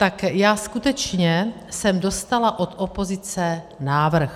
Tak já skutečně jsem dostala od opozice návrh.